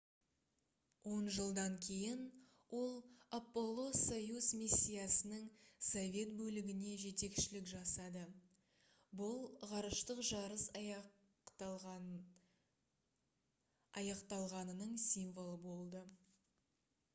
он жылдан кейін ол аполло-союз миссиясының совет бөлігіне жетекшілік жасады бұл ғарыштық жарыс аяқталғанының символы болды